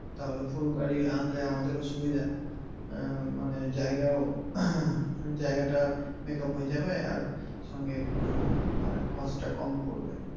তাহলে full গাড়ি আনলে আমাদেরও সুবিধা মানে আহ জায়গাও জায়গাটা makeup হয়ে যাবে আর সঙ্গে মানে cost টা কম পড়বে।